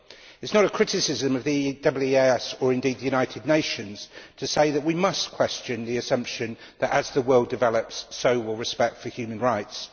It is not a criticism of the EEAS or indeed the United Nations to say that we must question the assumption that, as the world develops, so will respect for human rights.